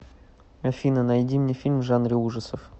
афина найди мне фильм в жанре ужасов